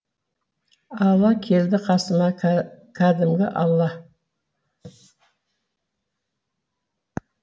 алла келді қасыма кәдімгі алла